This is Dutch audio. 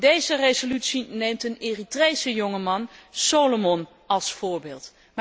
Deze resolutie neemt een Eritrese jongeman, Solomon, als voorbeeld.